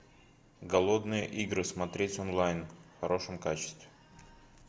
голодные игры смотреть онлайн в хорошем качестве